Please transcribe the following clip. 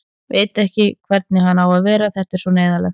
Veit ekki hvernig hann á að vera, þetta er svo neyðarlegt.